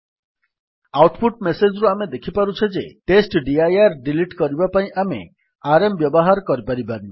out put message ରୁ ଆମେ ଦେଖିପାରୁଛେ ଯେ ଟେଷ୍ଟଡିର ଡିଲିଟ୍ କରିବା ପାଇଁ ଆମେ ଆରଏମ୍ ବ୍ୟବହାର କରିପାରିବାନି